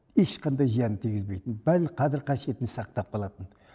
ешқандай зиянын тигізбейтін барлық қадір қасиетін сақтап қалатын